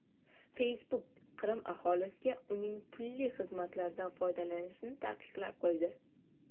Facebook Qrim aholisiga uning pulli xizmatlaridan foydalanishni taqiqlab qo‘ydi.